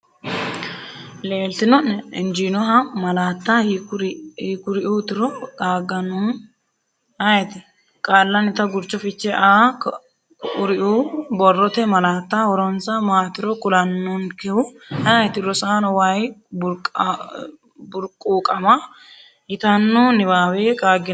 leeltino’ne? injjiinoha malaatta hiikuriuutiro qaagannohu ayeeti? Qaallanita Gurcho Fiche Aa Kuriuu borrote malaatta horonsa maatiro kulannonkehu ayeeti? Rosaano way burquuqama yitanno niwaawe qaagginanni?